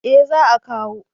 eh za a kawo